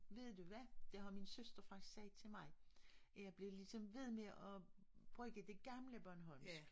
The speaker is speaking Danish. Ved du hvad det har min søster faktisk sagt til mig at jeg blev ligesom ved med at bruge det gamle bornholmsk